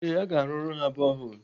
Ee, aga arụrụ ha boholu.